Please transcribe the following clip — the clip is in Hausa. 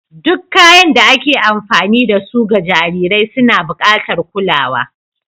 Duk kayan da ake amfani da su ga jarirai suna buƙatar kulawa.